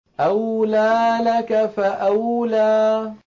أَوْلَىٰ لَكَ فَأَوْلَىٰ